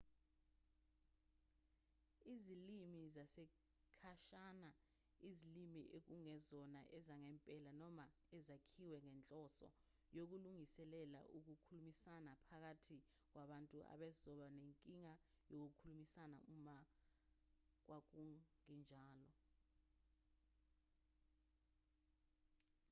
izilimi zesikhashana izilimi ekungezona ezangempela noma ezakhiwe ngenhloso yokulungiselela ukukhulumisana phakathi kwabantu ababezoba nenkinga yokukhulumisana uma kwakungenjalo